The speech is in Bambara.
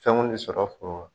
Fɛn kun tɛ sɔrɔ foro la